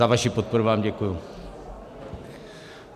Za vaši podporu vám děkuju.